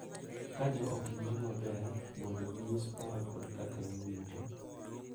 Ka jo ot winjo maber mondo ginyis paro kod kaka giwinjo,